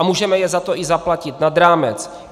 A můžeme je za to i zaplatit nad rámec.